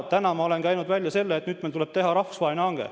Täna ma olen käinud välja selle, et nüüd tuleb teha rahvusvaheline hange.